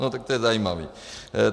No tak to je zajímavý.